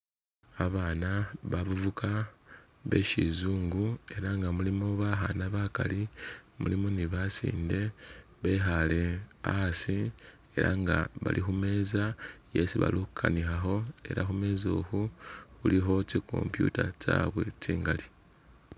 Abana bavuka be sizungu ela nga mulimo bakhana bakali mulimo ne basinde bekhaale asi ela nga bali khu meza esi bali khukanikhilakho ela khumeza ukhu khulikho tsi computer tsabwe tsingali